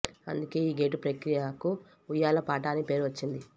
అందుకే ఈ గేటు ప్రక్రియకు ఉయ్యాల పాట అని పేరు వచ్చింది